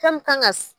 Fɛn min kan ka